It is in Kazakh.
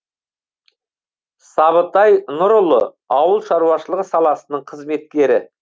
сабытай нұрұлы ауыл шаруашылығы саласының қызметкері